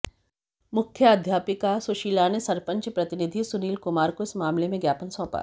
मुख्याध्यापिका सुशीला ने सरपंच प्रतिनिधि सुनील कुमार को इस मामले में ज्ञापन सौंपा